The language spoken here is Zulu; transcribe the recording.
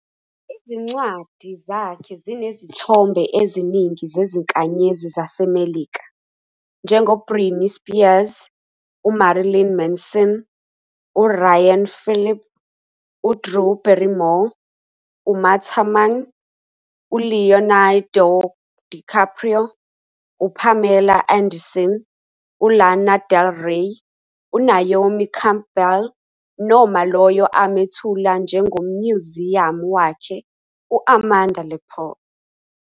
Izincwadi zakhe zinezithombe eziningi zezinkanyezi zaseMelika, njengoBritney Spears, uMarilyn Manson, uRyan Phillippe, uDrew Barrymore, Uma Thurman, uLeonardo DiCaprio, uPamela Anderson, uLana Del Rey, uNaomi Campbell, noma lowo amethula njengomnyuziyamu wakhe, u-Amanda Lepore.